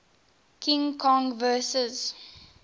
king kong vs